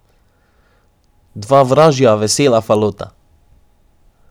Dva vražja, vesela falota.